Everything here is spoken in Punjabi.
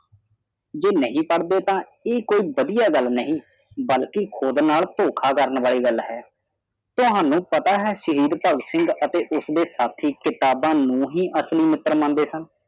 ਜੇ ਨਹੀ ਪੜ੍ਹਦੇ ਤਾਂ ਇਹ ਕੋਈ ਵਧੀਆ ਗੱਲ ਨਹੀਂ ਬਲਕਿ ਖੁਦ ਨਾਲ ਧੋਖਾ ਕਰਨ ਵਾਲੀ ਗੱਲ ਹੈ ਤੁਹਾਨੂੰ ਪਤਾ ਹੈ ਕਿ ਸ਼ਹੀਦ ਭਗਤ ਸਿੰਘ ਅਤੇ ਉਸਦੇ ਉਸ ਦੀ ਕਿਤਾਬਾਂ ਨੂੰ ਹੀ ਅਸਲੀ ਮਿਤਰ ਮੰਨਦੇ ਸਨ